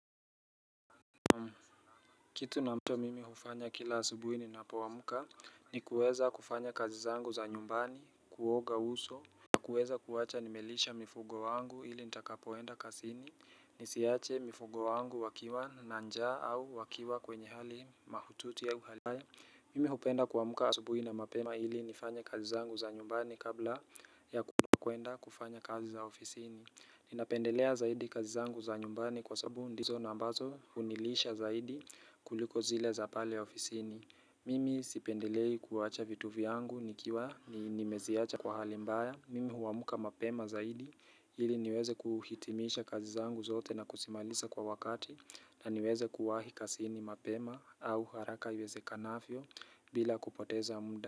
Kitu na mto mimi hufanya kila asubuhi ninapoamka ni kuweza kufanya kazi zangu za nyumbani kuoga uso. Na kuweza kuwacha nimelisha mifugo wangu ili nitakapoenda kasini nisiache mifugo wangu wakiwa na njaa au wakiwa kwenye hali mahututi au hali. Mimi hupenda kuamka asubuhi na mapema ili nifanye kazi zangu za nyumbani kabla ya kwenda kufanya kazi za ofisini. Ninapendelea zaidi kazi zangu za nyumbani kwa sabu ndizo na ambazo hunilisha zaidi kuliko zile za pale ya ofisini. Mimi sipendelei kuwacha vitu vyangu nikiwa ni nimeziacha kwa hali mbaya. Mimi huwamka mapema zaidi ili niweze kuhitimisha kazi zangu zote na kusimalisa kwa wakati na niweze kuwahi kasini mapema au haraka iwezekanafyo bila kupoteza mda.